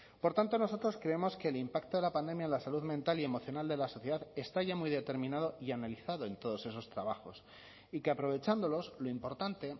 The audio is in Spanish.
por tanto nosotros creemos que el impacto de la pandemia en la salud mental y emocional de la sociedad está ya muy determinado y analizado en todos esos trabajos y que aprovechándolos lo importante